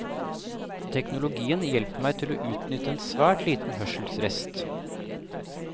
Teknologien hjelper meg til å utnytte en svært liten hørselsrest.